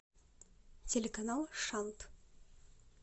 телеканал шант